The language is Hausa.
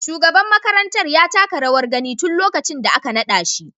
Shugaban makarantar ya taka rawar gani tun lokacin da aka nada shi.